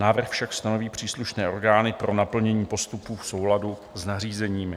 Návrh tak stanoví příslušné orgány pro naplnění postupů v souladu s nařízením.